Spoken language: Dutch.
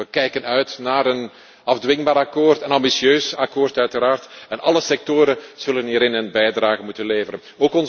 We kijken uit naar een afdwingbaar akkoord, een ambitieus akkoord, uiteraard, en alle sectoren zullen hieraan een bijdrage moeten leveren.